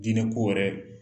Diinɛ ko wɛrɛ d